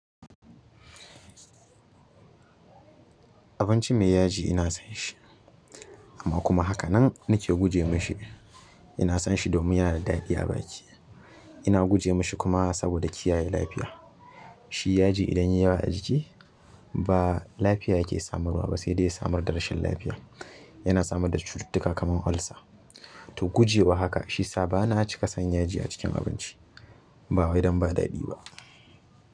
Abinci mai yaji ina son shi, amma kuma hakanan nake guje mashi. Ina son shi domin yana da daɗi a baki. Ina guje mashi kuma saboda kiyaye lafiya. Shi yaji idan ya yi yawa a jiki ba lafiya yake samarwa ba sai dai ya samar da rashin lafiya. Yana samar da cututtuka kaman olsa to guje wa haka shiyasa bana cika san yaji a cikin abinci. Ba wai don ba daɗi ba.